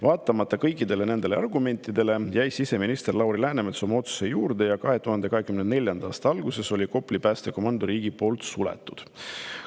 Vaatamata kõikidele nendele argumentidele, jäi siseminister Lauri Läänemets oma otsuse juurde ja 2024. aasta alguses Kopli päästekomando riigi poolt suleti.